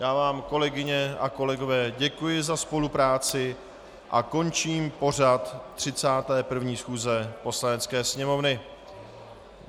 Já vám, kolegyně a kolegové, děkuji za spolupráci a končím pořad 31. schůze Poslanecké sněmovny.